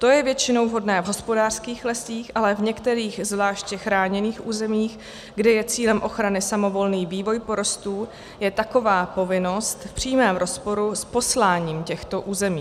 To je většinou vhodné v hospodářských lesích, ale v některých zvláště chráněných územích, kde je cílem ochrany samovolný vývoj porostů, je taková povinnost v přímém rozporu s posláním těchto území.